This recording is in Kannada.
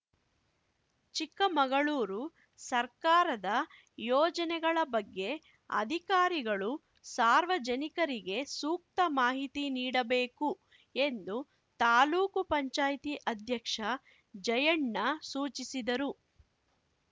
ಚಿಕ್ಕಮಗಳೂರು ಸರ್ಕಾರದ ಯೋಜನೆಗಳ ಬಗ್ಗೆ ಅಧಿಕಾರಿಗಳು ಸಾರ್ವಜನಿಕರಿಗೆ ಸೂಕ್ತ ಮಾಹಿತಿ ನೀಡಬೇಕು ಎಂದು ತಾಲೂಕು ಪಂಚಾಯ್ತಿ ಅಧ್ಯಕ್ಷ ಜಯಣ್ಣ ಸೂಚಿಸಿದರು